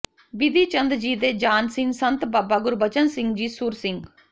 ਬਿਧੀ ਚੰਦ ਜੀ ਦੇ ਜਾਨਸੀਨ ਸੰਤ ਬਾਬਾ ਗੁਰਬਚਨ ਸਿੰਘ ਜੀ ਸੁਰ ਸਿੰਘ